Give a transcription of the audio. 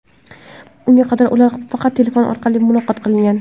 Unga qadar ular faqat telefon orqali muloqot qilgan.